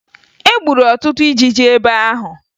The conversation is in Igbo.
E gburu ọtụtụ ijiji ebe ahụ